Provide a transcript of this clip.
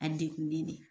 A degunnen de